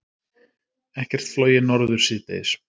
Ekkert flogið norður síðdegis